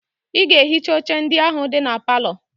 Ị ga-ehicha oche ndị ahụ dị na palọ!